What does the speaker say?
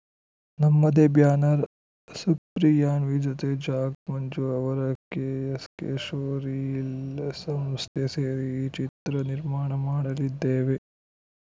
ನಮ್ಮದೇ ಬ್ಯಾನರ್‌ ಸುಪ್ರಿಯಾನ್ವಿ ಜೊತೆ ಜಾಕ್‌ ಮಂಜು ಅವರ ಕೆಎಸ್‌ಕೆ ಶೋರೀಲ್‌ ಸಂಸ್ಥೆ ಸೇರಿ ಈ ಚಿತ್ರ ನಿರ್ಮಾಣ ಮಾಡಲಿದ್ದೇವೆ